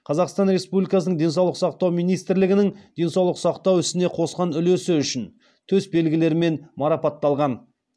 қазақстан республикасының денсаулық сақтау министрлігінің денсаулық сақтау ісіне қосқан үлесі үшін төс белгілерімен марапатталған